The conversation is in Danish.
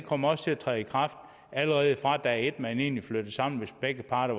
kommer også til at træde i kraft allerede fra dag et hvor man egentlig flytter sammen hvis begge parter